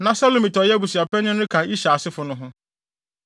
Na Selomit a ɔyɛ abusuapanyin no ka Ishar asefo no ho.